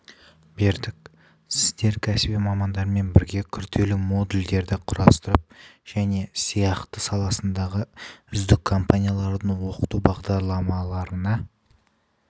бердік сіздер кәсіби мамандармен бірге күрделі модульдерді құрастырып және сияқты саласындағы үздік компаниялардың оқыту бағдарламаларына